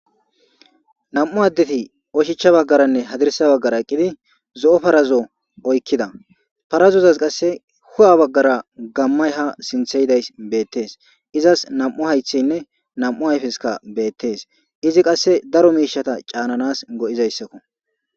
Nam7u addeti oshicha baggaranne hadirisa baggara eqqidi zo7o parazo oykkida parazozas qasse hu7a baggara gammay ha sintheyidays beettees. izas nam77u haythaynne nam77u hayfeska beettees. Izi qasse daro miishata caananas go7izayssakko.